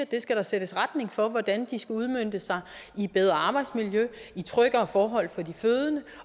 der skal sættes retning for hvordan de skal udmøntes i bedre arbejdsmiljø i tryggere forhold for de fødende